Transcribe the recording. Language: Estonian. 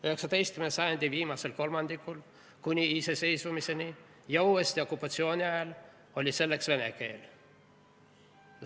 19. sajandi viimasel kolmandikul kuni iseseisvumiseni ja uuesti okupatsiooni ajal oli survestaja vene keel.